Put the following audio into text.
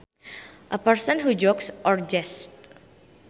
A person who jokes or jests